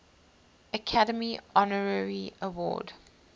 academy honorary award